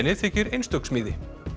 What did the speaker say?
þykir einstök smíði